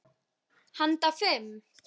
Handa fimm